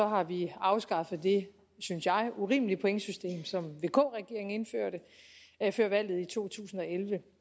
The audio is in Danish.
har vi afskaffet det synes jeg urimelige pointsystem som vk regeringen indførte før valget i to tusind og elleve